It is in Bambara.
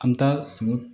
An bɛ taa sun